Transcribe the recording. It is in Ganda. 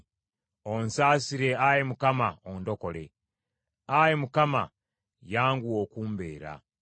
Onsasire ayi Mukama ondokole; Ayi Mukama , oyanguwe okumbeera.